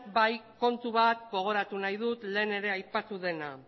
bai kontu bat gogoratu nahi dut lehen ere aipatu dena